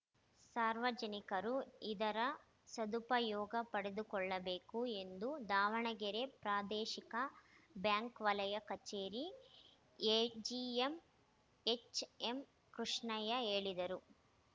ಸಾರ್ವಜನಿಕರು ಇದರ ಸದುಪಯೋಗ ಪಡೆದುಕೊಳ್ಳಬೇಕು ಎಂದು ದಾವಣಗೆರೆ ಪ್ರಾದೇಶಿಕ ಬ್ಯಾಂಕ್‌ ವಲಯ ಕಚೇರಿ ಎಜಿಎಂ ಎಚ್‌ಎಂಕೃಷ್ಣಯ್ಯ ಹೇಳಿದರು